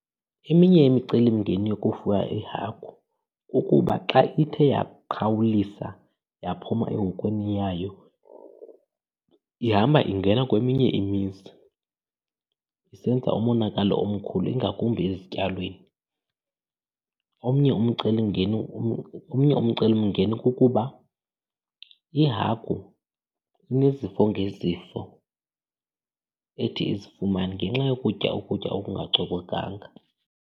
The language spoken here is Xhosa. Eminye imicelimngeni yokufuya iihagu kukuba xa ithe yaqhawulisa, yaphuma ehokweni yayo, ihamba ingena kweminye imizi isenza umonakalo omkhulu ingakumbi ezityalweni. Omnye umcelimngeni omnye umcelimngeni kukuba ihagu inezifo ngezifo ethi izifumane ngenxa yokutya ukutya okungacocekanga.